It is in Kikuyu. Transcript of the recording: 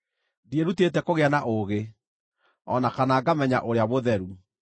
Ndiĩrutĩte kũgĩa na ũũgĩ, o na kana ngamenya Ũrĩa Mũtheru.